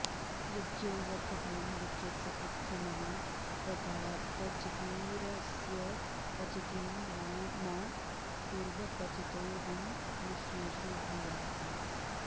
य॒ज्ञो व॑र्धतां य॒ज्ञस्य॒ वृद्धि॒मनु॑ व॒र्धाऽप॑ चितिर॒स्यप॑चितिं मा कु॒र्वप॑चितो॒ऽहं म॑नु॒ष्ये॑षु भूयासम्